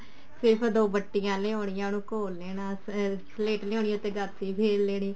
ਸਿਰਫ ਦੋ ਬੱਟੀਆਂ ਲਿਆਉਣੀਆਂ ਉਹਨੂੰ ਘੋਲ ਲੈਣਾ ਅਮ ਸਲੇਟ ਲਿਆਉਣੀ ਫ਼ੇਰ ਗਾਚਣੀ ਫ਼ੇਰ ਲੈਣੀ